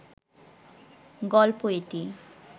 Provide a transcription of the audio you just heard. গল্প এটি